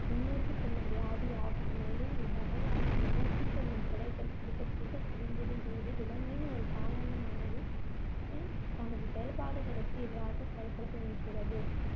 முன்நோக்கி செல்லும் வியாதி ஆகும், மேலும் இவ்வகையான முன்நோக்கி செல்லும் பிழைகள் சிறுக சிறுக குவிந்துடும்போது விலங்கின் ஒரு காலனமானது~ து அஹ் தனது செயல்பாடுகளுக்கு எதிராக செயல்பட துவங்குகிறது.